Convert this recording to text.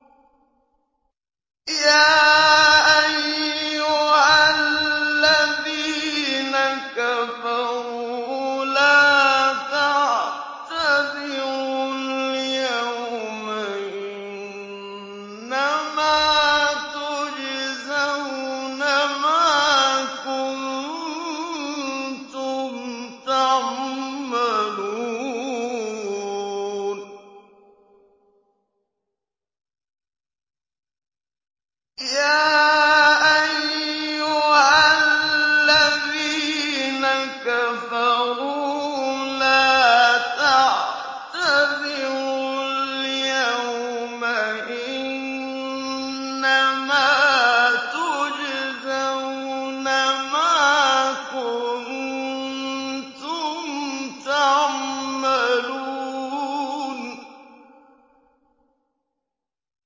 يَا أَيُّهَا الَّذِينَ كَفَرُوا لَا تَعْتَذِرُوا الْيَوْمَ ۖ إِنَّمَا تُجْزَوْنَ مَا كُنتُمْ تَعْمَلُونَ